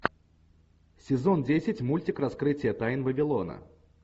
сезон десять мультик раскрытие тайн вавилона